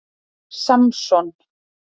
Samson